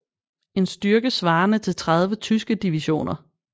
En styrke svarende til 30 tyske divisioner